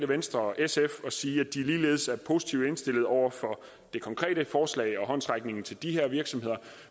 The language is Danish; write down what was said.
venstre og sf og sige at de ligeledes er positivt indstillet over for det konkrete forslag og håndsrækningen til de her virksomheder